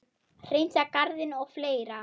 Hreinsa garðinn og fleira.